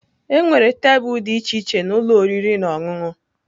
Enwere tebụl dị iche iche na ụlọ oriri na ọṅụṅụ.